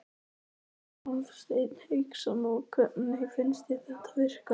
Hafsteinn Hauksson: Og hvernig finnst þér þetta virka?